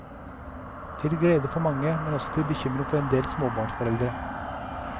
Til glede for mange, men også til bekymring for endel småbarnsforeldre.